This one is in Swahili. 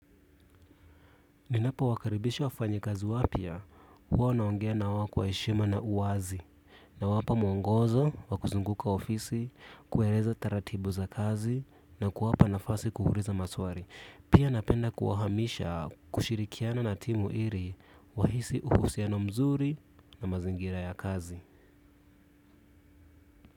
Ninapowakaribisha wafanyikazi wapya, huwa naongea na wao kwa heshima na wazi. Nawapa mwongozo, wakuzunguka ofisi, kueleza taratibu za kazi na kuwapa nafasi kuuliza maswali. Pia napenda kuwahamisha kushirikiana na timu ili wahisi husiano mzuri na mazingira ya kazi.